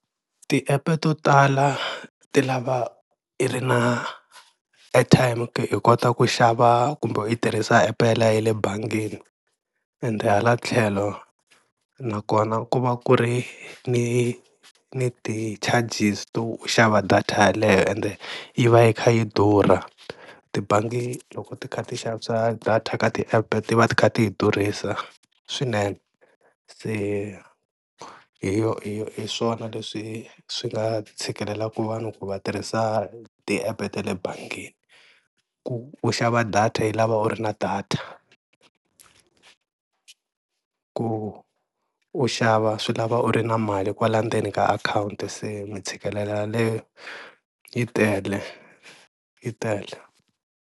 Ti-app to tala ti lava i ri na airtime ku hi kota ku xava kumbe hi tirhisa app yaleyo ya le bangini, ende hala tlhelo na kona ku va ku ri ni ni ti-charges to xava data yeleyo ende yi va yi kha yi durha, tibangi loko ti kha ti xavisa data ka ti-app ti va ti kha ti yi durhisa swinene, se hi yo hi hi swona leswi swi nga tshikelelaku va vanhu ku va tirhisa ti-app ta le bangini, ku u xava data yi lava u ri na data ku u xava swi lava u ri na mali kwala ndzeni ka akhawunti se mi tshikelelo yaleyo yi tele yi tele.